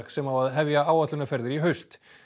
sem á að hefja áætlunarferðir í haust